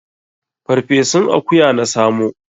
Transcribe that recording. Farfesun akuya na samo.